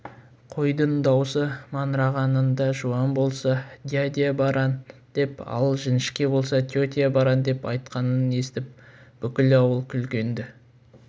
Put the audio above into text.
қойдың даусы маңырағанында жуан болса дядя баран деп ал жіңішке болса тетя баран деп айтқанын естіп бүкіл ауыл күлген-ді